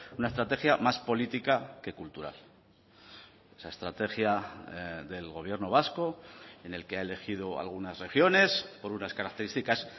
una estrategia más política que cultural esa estrategia del gobierno vasco en el que ha elegido algunas regiones por unas características